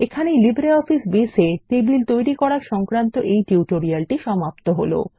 এখানে LibreOffice Base এ table তৈরি করা সংক্রান্ত এই টিউটোরিয়ালটি সমাপ্ত হল